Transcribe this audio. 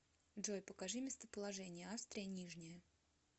джой покажи местоположение австрия нижняя